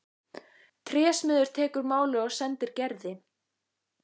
Trésmiður tekur málið og sendir Gerði.